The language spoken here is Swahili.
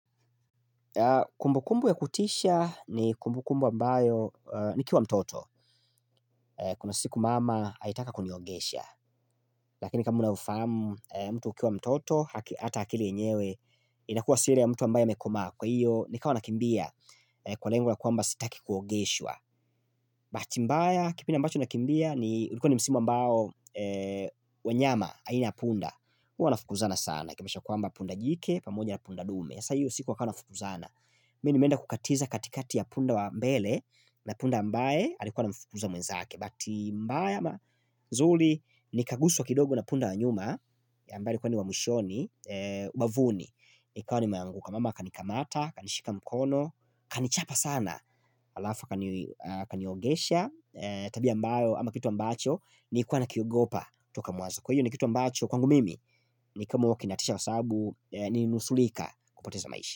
Kumbukumbu ya kutisha ni kumbukumbu ambayo nikiwa mtoto Kuna siku mama alitaka kuniogesha Lakini kama unavyofahamu mtu akiwa mtoto Hata hakili enyewe inakuwa si ile ya mtu ambayo amekoma Kwa hiyo nikawa nakimbia kwa lengo la kuamba sitaki kuogeshwa Bahati mbaya kipindi ambacho nakimbia ni ulikuwa ni msimu ambao wanyama aina punda Huwanafukuzana sana Kamesha kwamba punda jike pamoja na punda dume sa hiyo siku wakawa wanafukzauna Mi nimenda kukatiza katikati ya punda wa mbele na punda mbae alikuwa ana mfukuza mwenzake Bahati mbaya ama zuli ni kaguswa wa kidogo na punda wa nyuma ambaye alikuwa ni wa mwishoni, ubavuni ikawa nimeanguka mama akanikamata, akanishika mkono, kanichapa sana Alafu kaniogesha, tabia ambayo ama kitu ambacho nilikuwa na kiogopa toka mwanzo Kwa hiyo ni kitu ambacho kwangu mimi ni kama wa kinatisha kwa sababu nilinusulika kupoteza maisha.